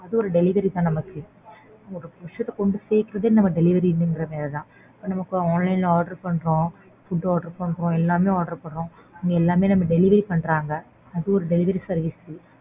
அதுவும் ஒரு delivery தான் நமக்கு ஒரு விசயத்த கொண்டு சேக்கறதே நமக்கு delivery ங்கற மாதிரிதான் நமக்கு online ல order பண்றோம். Food order பண்றோம். எல்லாமே order பண்றோம். எல்லாமே நமக்கு delivery பண்றாங்க. அது ஒரு delivery service.